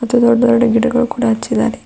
ಮತ್ತೆ ದೊಡ್ಡ ದೊಡ್ಡ ಗಿಡಗಳ ಕೂಡ ಹಚ್ಚಿದಾರೆ.